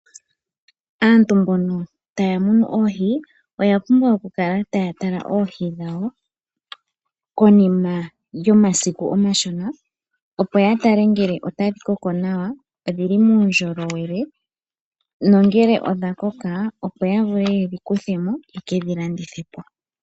Aantu mbono taya munu oohi oyapumbwa okukala taya tala oohi dhawo konima yomasiku omashona opo yatale ngele otadhi koko nawa, dhili muundjowele nongele dhakoko opo yavule yedhi kuthemo, yekedhi landithepo.